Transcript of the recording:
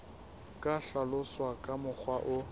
ka hlaloswa ka mokgwa o